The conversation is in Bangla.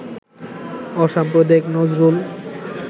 অসাম্প্রদায়িক নজরুল